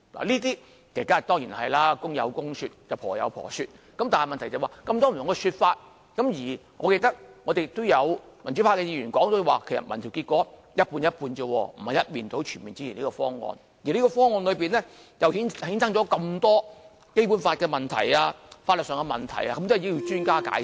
這當然是公有公說理，婆有婆說理，但問題是這麼多不同的說法，而我記得民主派議員也說民調結果也只是一半一半，並非一面倒全面支持這方案，而方案又衍生這麼多《基本法》的問題和法律上的問題，都需要專家解釋。